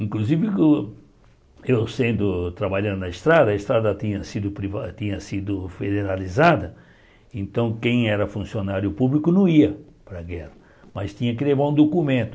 Inclusive, eu sendo trabalhando na estrada, a estrada tinha sido priva tinha sido federalizada, então quem era funcionário público não ia para a guerra, mas tinha que levar um documento.